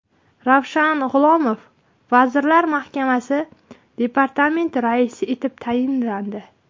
Ravshan G‘ulomov Vazirlar Mahkamasi departamenti raisi etib tayinlandi.